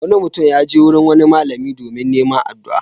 Wani mutum ya je wurin wani malami domin neman addu'a.